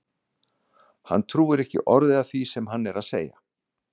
Hún trúir ekki orði af því sem hann er að segja!